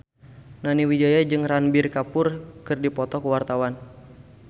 Nani Wijaya jeung Ranbir Kapoor keur dipoto ku wartawan